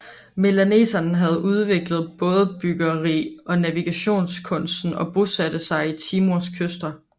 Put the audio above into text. Melaneserne havde udviklet bådebyggeri og navigationskunsten og bosatte sig ved Timors kyster